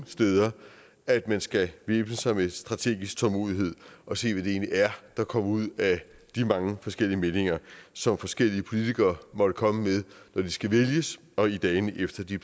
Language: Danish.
sted at man skal væbne sig med strategisk tålmodighed og se hvad det egentlig er der kommer ud af de mange forskellige meninger som forskellige politikere måtte komme med når de skal vælges og i dagene efter de